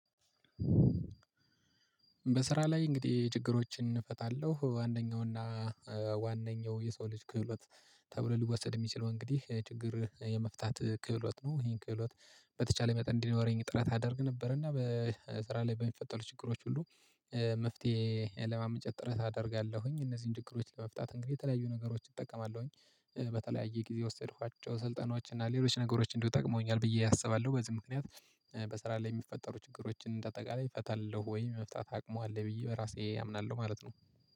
በስራ ላይ እንግዲህ ችግሮችን እፈታለሁ አንደኛው ዋነኛው የሰው ልጅ ክህሎት ተብሎ ሊወሰድ የሚችለው እንግዲህ ችግር የመፍታት ክህሎት ነው። ይሄን ክህሎት በተቻለ መጠን እንዲኖረኝ ጥረት አደርግ ነበር እና በስራ ላይ በሚፈጠሩ ችግሮች ሁሉ መፍትሄ ለማመንጨት ጥረት አደርጋለሁኝ። እነዚህን ችግሮች ለመፍታት እንግዲህ የተለያዩ ነገሮች እጠቀማለሁኝ በተለያየ ጊዜ የወሰድኳቸው ስልጠናዎች እና ሌሎች ነገሮች እንዲሁ ጠቅመውኛል ብዬ አስባለሁ። በዚህ ምክንያት በስራ ላይ የሚፈጠሩ ችግሮችን እንደ አጠቃላይ እፈታለሁ ወይ የመፍታት አቅሙ አለኝ ብዬ በራሴ አምናለሁ ማለት ነው